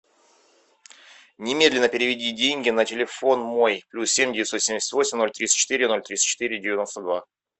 немедленно переведи деньги на телефон мой плюс семь девятьсот семьдесят восемь ноль тридцать четыре ноль тридцать четыре девяносто два